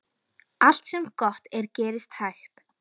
Allt sem gott er gerist hægt.